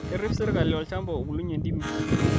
Kerrip sirkali olchamba obulunye ntimi